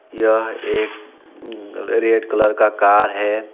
यह एक red colour का कार है।